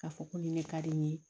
K'a fɔ ko nin ne ka di n ye